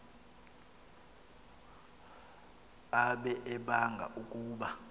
ade abanga ukuba